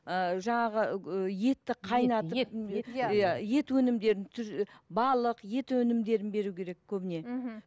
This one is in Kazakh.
ыыы жаңағы ы етті қайнатып иә ет өнімдерін балық ет өнімдерін беру керек көбіне мхм